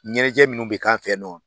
Ɲɛnajɛ minnu bɛ k'an fɛ yen nɔ